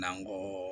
N'an ko